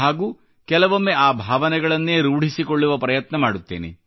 ಹಾಗೂ ಕೆಲವೊಮ್ಮೆ ಆ ಭಾವನೆಗಳನ್ನೇ ರೂಢಿಸಿಕೊಳ್ಳುವ ಪ್ರಯತ್ನ ಮಾಡುತ್ತೇನೆ